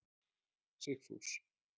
Sigfús